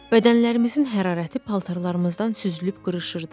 Bədənlərimizin hərarəti paltarlarımızdan süzülüb qırışırdı.